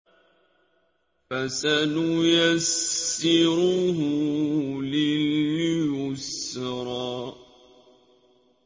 فَسَنُيَسِّرُهُ لِلْيُسْرَىٰ